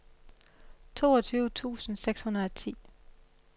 toogtyve tusind seks hundrede og ti